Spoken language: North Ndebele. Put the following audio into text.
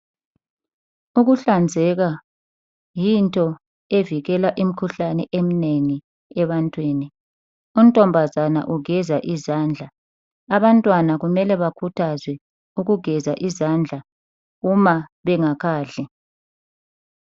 Ukuhlanzeka yinto evikela imikhuhlane eminengi ebantwini, untombazana ugeza izandla, abantwana kumele bakhuthazwe ukugeza izandla uma bengakadli.